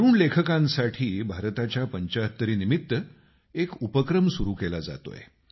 तरूण लेखकांसाठी भारताच्या पंचाहत्तरीनिमित्त एक उपक्रम सुरू केला जात आहे